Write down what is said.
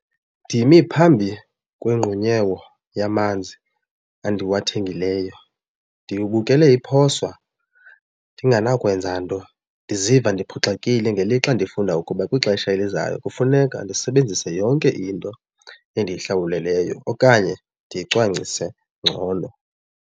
Ndimi phambi kwengqunyewo yamanzi endiwathengileyo ndibukele iphoswa ndinganawukwenza nto ndiziva ndiphoxekile ngelixa ndifunda ukuba kwixesha elizayo kufuneka ndisebenzise yonke into endiyihlawuleleyo okanye ndiyicwangcise ngcono.